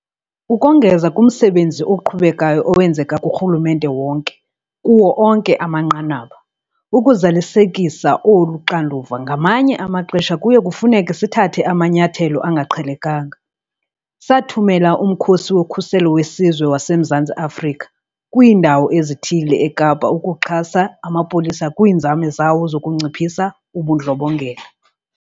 Ukongeza kumsebenzi oqhubekayo owenzeka kurhulumente wonke, kuwo onke amanqanaba, ukuzalisekisa olu xanduva, ngamanye amaxesha kuye kufuneke sithathe amanyathelo angaqhelekanga. Sathumela uMkhosi woKhuselo weSizwe waseMzantsi Afrika kwiindawo ezithile eKapa ukuxhasa amapolisa kwiinzame zawo zokunciphisa ubundlobongela.